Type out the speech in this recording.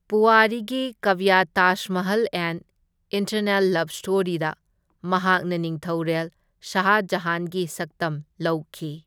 ꯄꯨꯋꯥꯔꯤꯒꯤ ꯀꯕ꯭ꯌ Taj Mahal an eternal love ꯁ꯭ꯇꯣꯔꯤꯗ ꯃꯍꯥꯛꯅ ꯅꯤꯡꯊꯧꯔꯦꯜ ꯁꯥꯍ ꯖꯥꯍꯥꯟꯒꯤ ꯁꯛꯇꯝ ꯂꯧꯈꯤ꯫